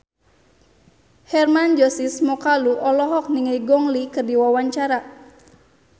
Hermann Josis Mokalu olohok ningali Gong Li keur diwawancara